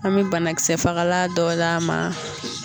An mi banakisɛfagala dɔ d'a ma.